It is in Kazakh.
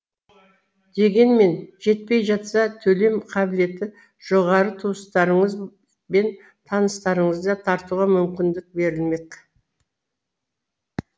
дегенмен жетпей жатса төлем қабілеті жоғары туыстарыңыз бен таныстарыңызды тартуға мүмкіндік берілмек